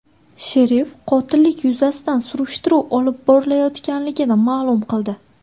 Sherif qotillik yuzasidan surishtiruv olib borilayotganligini ma’lum qildi.